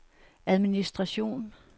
administration